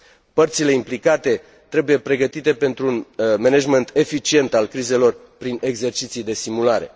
Părțile implicate trebuie pregătite pentru un management eficient al crizelor prin exerciții de simulare.